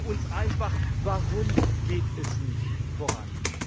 Sagen sie uns einfach Warum geht es nicht voran?